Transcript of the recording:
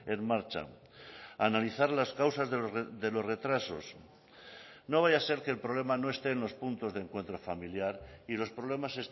en marcha analizar las causas de los retrasos no vaya a ser que el problema no esté en los puntos de encuentro familiar y los problemas